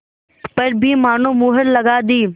पर भी मानो मुहर लगा दी